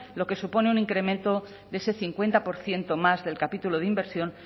lo que supone un incremento de ese cincuenta por ciento más del capítulo de inversión